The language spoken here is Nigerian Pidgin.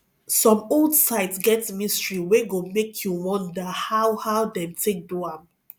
some old sites get mystery wey go make you wonder how how dem take do am